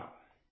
DSSHVK